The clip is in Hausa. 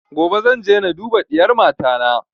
Gobe zan je na duba diyar mata na